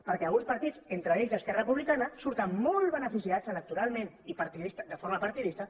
perquè alguns partits entre ells esquerra republicana surten molt beneficiats electoralment de forma partidista